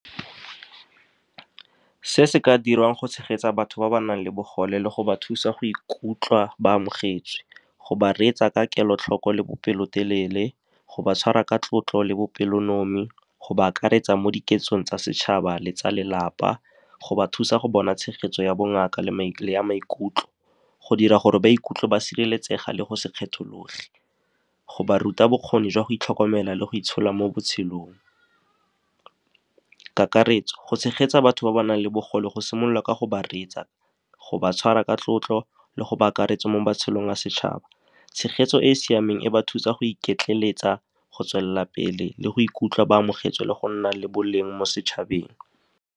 Se se ka dirwang go tshegetsa batho ba ba nang le bogole le go ba thusa go ikutlwa ba amogetswe. Go ba reetsa ka kelotlhoko le bopelotelele, go ba tshwara ka tlotlo le bopelonomi, go ba akaretsa mo diketsong tsa setšhaba le tsa lelapa, go ba thusa go bona tshegetso ya bongaka le ya maikutlo, go dira gore ba ikutlwe ba sireletsega le go se kgethologe, go ba ruta bokgoni jwa go itlhokomela le go itshola mo botshelong. Kakaretso, go tshegetsa batho ba ba nang le bogole go simolola ka go ba reetsa, go ba tshwara ka tlotlo le go ba akaretsa mo matshelong a setšhaba. Tshegetso e e siameng e ba thusa go iketleletsa, go tswelela pele le go ikutlwa ba amogetswe le go nna le boleng mo setšhabeng.